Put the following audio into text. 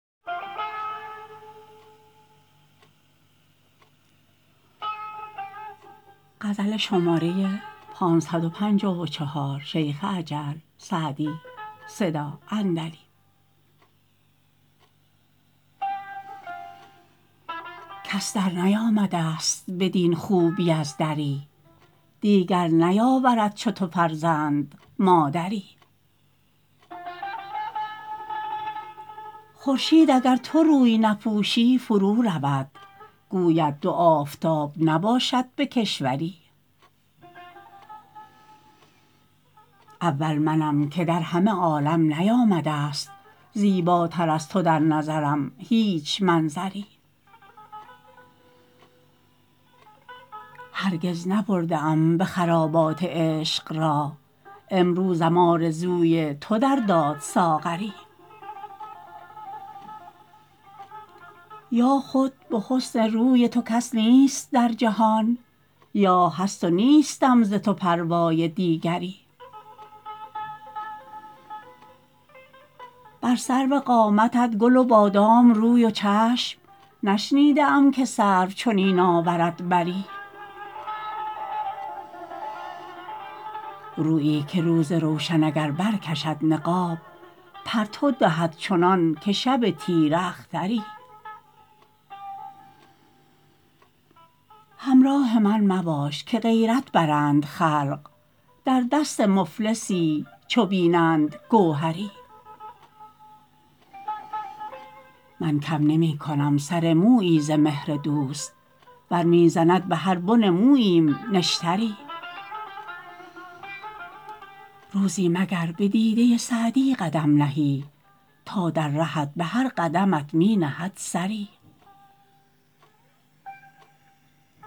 کس درنیامده ست بدین خوبی از دری دیگر نیاورد چو تو فرزند مادری خورشید اگر تو روی نپوشی فرو رود گوید دو آفتاب نباشد به کشوری اول منم که در همه عالم نیامده ست زیباتر از تو در نظرم هیچ منظری هرگز نبرده ام به خرابات عشق راه امروزم آرزوی تو در داد ساغری یا خود به حسن روی تو کس نیست در جهان یا هست و نیستم ز تو پروای دیگری بر سرو قامتت گل و بادام روی و چشم نشنیده ام که سرو چنین آورد بری رویی که روز روشن اگر برکشد نقاب پرتو دهد چنان که شب تیره اختری همراه من مباش که غیرت برند خلق در دست مفلسی چو ببینند گوهری من کم نمی کنم سر مویی ز مهر دوست ور می زند به هر بن موییم نشتری روزی مگر به دیده سعدی قدم نهی تا در رهت به هر قدمت می نهد سری